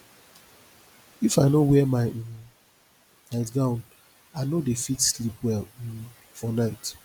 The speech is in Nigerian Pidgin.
if i no wear my um nightgown i no dey fit sleep well um for night